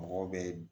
Mɔgɔw bɛ